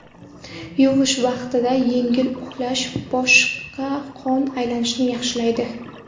Yuvish vaqtida yengil uqalash boshda qon aylanishni yaxshilaydi.